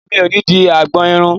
Mi ò ní dé agbọn irun.